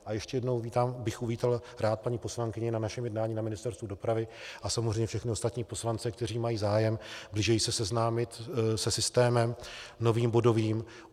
A ještě jednou bych uvítal rád paní poslankyni na našem jednání na Ministerstvu dopravy, a samozřejmě všechny ostatní poslance, kteří mají zájem blíže se seznámit se systémem novým bodovým.